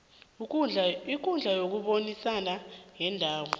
ikundla yokubonisana yendawo